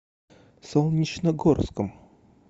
солнечногорском